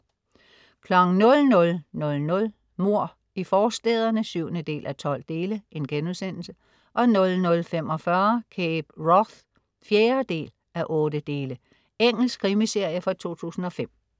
00.00 Mord i forstæderne 7:12* 00.45 Cape Wrath 4:8. Engelsk krimiserie fra 2005